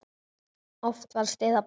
Oft var stuð á bænum.